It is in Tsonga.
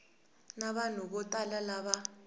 na vanhu vo tala lava